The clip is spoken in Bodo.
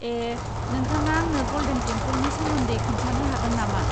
ए, नोंथाङा आंनो गल्डेन टेमपोलनि सोमोन्दै खोन्थानो हागोन नामा?